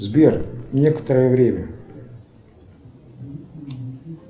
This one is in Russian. сбер некоторое время